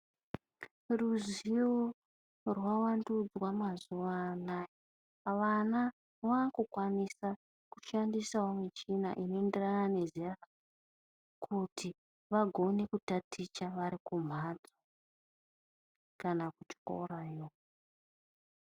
Ruziwo rwakuvandunzwa mazuva anawa, vana vavakukwanisa vakushandisawo michina inoenderana nezera ravo kuti vagone kutaticha vari kumbatso kana kuchikora .